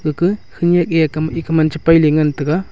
gakah khanyak ke ak ekah man chepai le ngan tega.